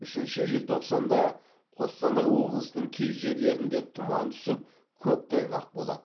үшінші желтоқсанда қостанай облысының кей жерлерінде тұман түсіп көктайғақ болады